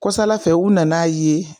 Kɔ sala fɛ u nan'a ye